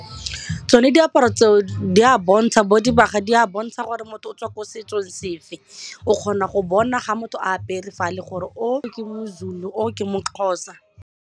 Tsone diaparo tseo di a bontsha, bo dibaga di a bontsha gore motho o tswa ko setsong sefe o kgona go bona ga motho a apere fale gore o ke moZulu o ke moXhosa.